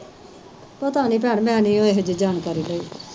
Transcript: ਪਤਾ ਨੀ ਭੈਣ ਮੈਂ ਨੀ ਇਹ ਜਿਹੀ ਜਾਣਕਾਰੀ ਲਈ।